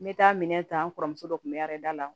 N bɛ taa minɛn ta n kɔrɔmuso dɔ tun bɛ a da la